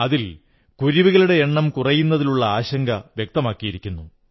അതിൽ കുരുവികളുടെ എണ്ണം കുറയുന്നതിലുള്ള ആശങ്ക വ്യക്തമാക്കിയിരിക്കുന്നു